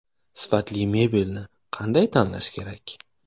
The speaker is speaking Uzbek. Sifatli mebelni qanday tanlash kerak?.